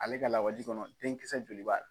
Ale ka la waji kɔnɔ denkisɛ joli b'a la?